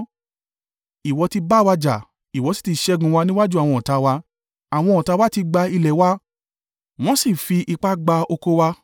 Ìwọ ti bá wa jà, ìwọ sì ti ṣẹ́gun wa níwájú àwọn ọ̀tá wa, àwọn ọ̀tá wa ti gba ilẹ̀ wa, wọ́n sì fi ipá gba oko wa.